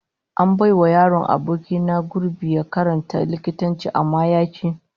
An bai wa yaron aboki na gurbi ya karanta likitanci amma ya ki